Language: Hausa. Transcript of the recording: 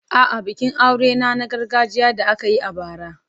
A'a, bikin aurena na gargajiya da aka yi a bara.